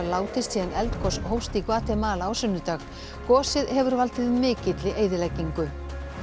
látist síðan eldgos hófst í Gvatemala á sunnudag gosið hefur valdið mikilli eyðileggingu